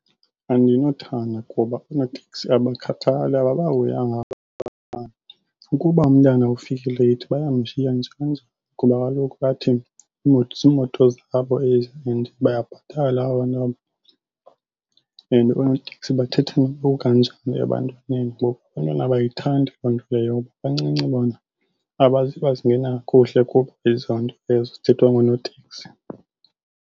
Andinothanda kuba oonoteksi abakhathali, ababahoyanga abantwana. Ukuba umntana ufike leyithi bayamshiya nje kanjalo, kuba kaloku bathi iimoto ziimoto zabo ezi and bayabhatala abantu aba. And onoteksi bathetha noba kukanjani ebantwaneni ngoku abantwana abayithandi loo nto leyo bancinci bona kakuhle kubo ezonto ezo zithethwa ngoonoteksi.